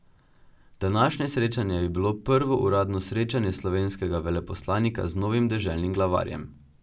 Današnje srečanje je bilo prvo uradno srečanje slovenskega veleposlanika z novim deželnim glavarjem.